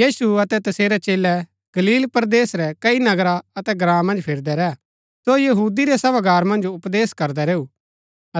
यीशु अतै तसेरै चेलै गलील परदेस रै कई नगरा अतै ग्राँ मन्ज फिरदै रैह सो यहूदी रै सभागार मन्ज उपदेश करदा रैऊ